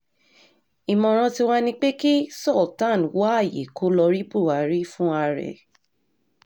ìmọ̀ràn tiwa ni pé kí sultan wá ààyè kó lọ́ọ́ rí buhari fúnra ẹ̀